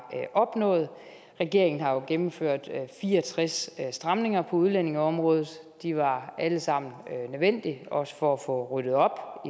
opnået regeringen har jo gennemført fire og tres stramninger på udlændingeområdet de var alle sammen nødvendige også for at få ryddet op